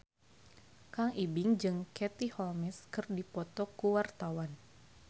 Kang Ibing jeung Katie Holmes keur dipoto ku wartawan